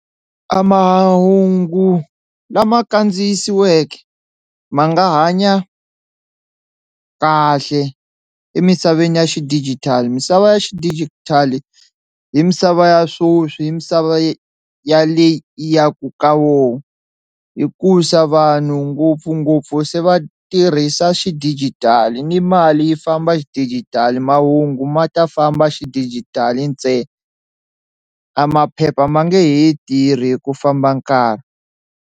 A mahungu lama kandziyisiweke ma nga hanya kahle emisaveni ya xidijitali misava ya xidijitali hi misava ya swoswi hi misava ya le hi ya ku ka wona, hikusa vanhu ngopfungopfu se va tirhisa xidijitali ni mali yi famba xidijitali mahungu ma ta famba xidijitali ntsena, a maphepha ma nge he tirhi ku famba nkarhi.